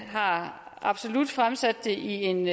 har absolut fremsat det i en